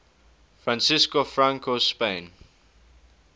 francisco franco's spain